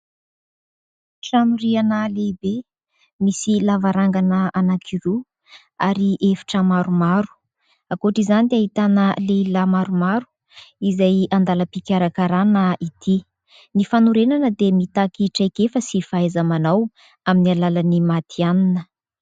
Trano rihana lehibe, misy lavarangana anankiroa ary efitra maromaro. Ankoatr'izany dia ahitana lehilahy maromaro izay an-dalam-pikarakarana ity. Ny fanorenana dia mitaky traikefa sy fahaiza-manao amin'ny alalan'ny matihanina.